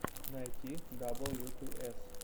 найти дабл ю ту эс